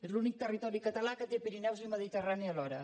és l’únic territori català que té pirineus i mediterrani alhora